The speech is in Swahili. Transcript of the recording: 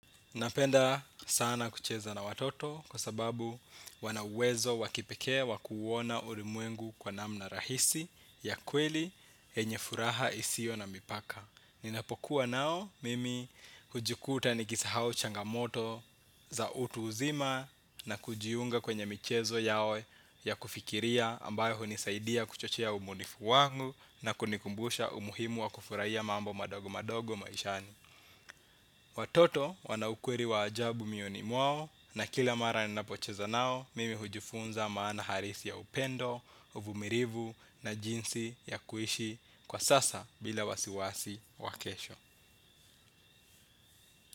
Napenda sana kucheza na watoto kwa sababu wana uwezo wa kipekee wakuuona ulimwengu kwa namna rahisi ya kweli yenye furaha isiyo na mipaka. Ninapokuwa nao mimi hujikuta nikisahau changamoto za utu uzima na kujiunga kwenye michezo yao ya kufikiria ambayo unisaidia kuchochea ubunifu wangu na kunikumbusha umuhimu wa kufurahia mambo madogo madogo maishani. Watoto wana ukweli wa ajabu mioyoni mwao na kila mara ninapocheza nao mimi hujifunza maana halisi ya upendo, uvumilivu na jinsi ya kuishi kwa sasa bila wasiwasi wa kesho.